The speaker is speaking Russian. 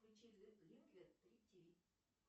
включи